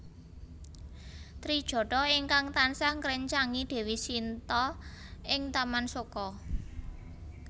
Trijatha ingkang tansah ngréncangi Dewi Shinta ing Taman Soka